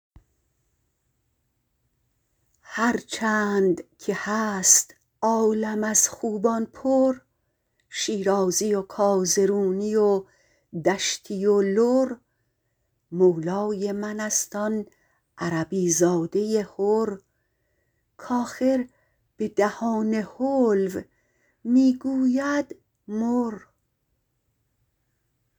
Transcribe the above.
هرچند که هست عالم از خوبان پر شیرازی و کازرونی و دشتی و لر مولای منست آن عربی زاده حر کاخر به دهان حلو می گوید مر